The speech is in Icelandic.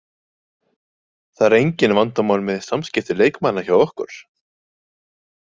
Það eru engin vandamál með samskipti leikmanna hjá okkur.